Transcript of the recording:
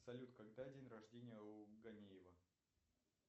салют когда день рождения у ганеева